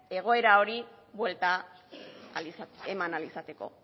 egoera horri buelta eman ahal izateko